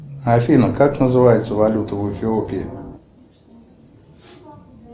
афина как называется валюта в эфиопии